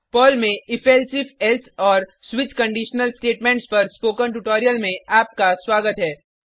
Perl में if elsif else और switch conditional statements पर स्पोकन ट्यूटोरियल में आपका स्वागत है